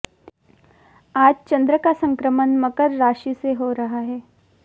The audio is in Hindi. आज चंद्र का संक्रमण मकर राशि से हो रहा है